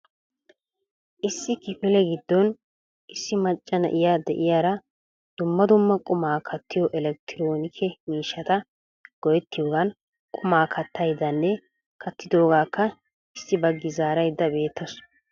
Issi kifile giddon issi macca na'iya de'iyaara dumma dumma quma kattiyo elekettronilke miishshata go"ettiyoogan quma kattayddanne kattidoogaka issi baggi zaaraydda beettawus.